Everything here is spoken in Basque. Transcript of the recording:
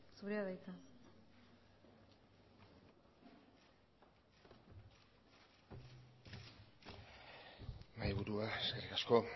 zurea da hitza mahaiburua eskerrik asko